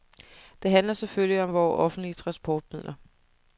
Det handler selvfølgelig om vore offentlige transportmidler.